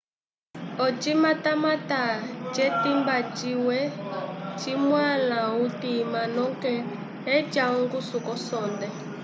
ocimatamata ce timba cimwe ci nuala utima noke eca onguso ko sonde